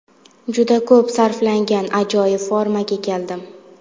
Juda ko‘p kuch sarflangan ajoyib formaga keldim.